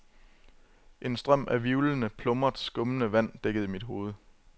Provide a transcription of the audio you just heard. En strøm af hvirvlende, plumret, skummende vand dækkede mit hoved.